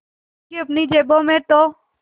उनकी अपनी जेबों में तो